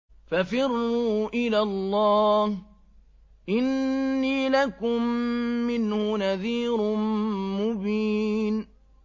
فَفِرُّوا إِلَى اللَّهِ ۖ إِنِّي لَكُم مِّنْهُ نَذِيرٌ مُّبِينٌ